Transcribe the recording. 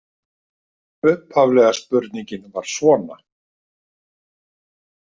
Upphaflega spurningin var svona